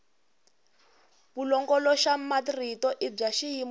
vulongoloxamarito i bya xiyimo xa